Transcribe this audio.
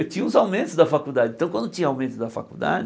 Eu tinha uns aumentos da faculdade, então quando tinha aumento da faculdade...